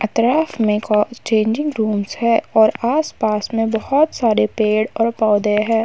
अतराफ में को changing rooms है और आस-पास में बहोत सारे पेड़ और पौधे है।